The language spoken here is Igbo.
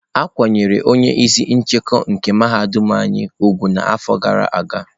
A kwanyere onye isi nchekwa nke mahadum anyị úgwù n'afọ gara aga.